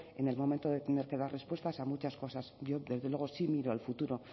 en el momento de tener que dar respuestas a muchas cosas yo desde luego sí miro al futuro